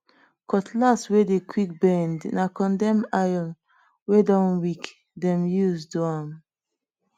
cutlass wey dey quick bend na condemn iron wey don weak dem use do am